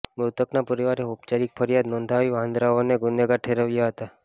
મૃતકના પરિવારે ઔપચારિક ફરિયાદ નોંધાવી વાંદરાઓને ગુનેગાર ઠેરાવ્યા હતા